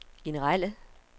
generelle